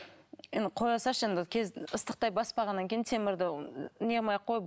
енді қоя салшы енді ыстықтай баспағаннан кейін темірді не қылмай ақ қой